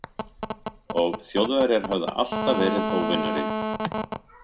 Og Þjóðverjar höfðu alltaf verið óvinurinn.